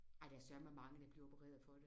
Ej der er søreme mange der bliver opereret for det